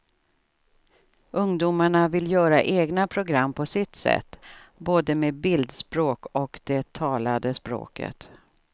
Ungdomarna vill göra egna program på sitt sätt, både med bildspråk och det talade språket.